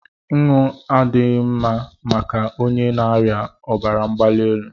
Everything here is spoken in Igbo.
Nnu adịghị mma maka onye na-arịa obara mgbalielu